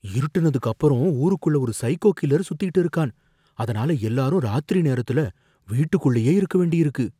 இருட்டுனதுக்கு அப்பறம் ஊருக்குள்ள ஒரு சைக்கோ கில்லர் சுத்திட்டு இருக்கான், அதனால எல்லாரும் ராத்திரி நேரத்துல வீட்டுக்குள்ளயே இருக்க வேண்டியிருக்கு.